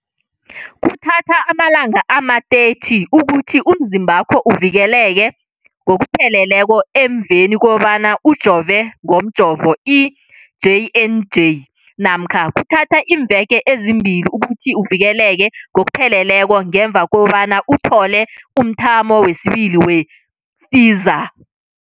Kuthatha amalanga ama-30 ukuthi umzimbakho uvikeleke ngokupheleleko emveni kobana ujove ngomjovo i-J and J namkha kuthatha iimveke ezimbili ukuthi uvikeleke ngokupheleleko ngemva kobana uthole umthamo wesibili wePfizer.